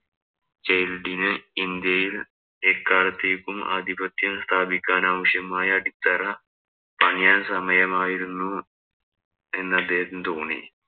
ജെല്‍ഡിന് ഇന്‍ഡ്യയില്‍ എക്കാലത്തേക്കും ആധിപത്യം സ്ഥാപിക്കാനാവശ്യമായ അടിത്തറ പണിയാന്‍ സമയമായിരുന്നു എന്ന അദ്ദേഹത്തിന് തോന്നി.